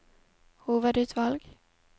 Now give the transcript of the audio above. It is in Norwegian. hovedutvalg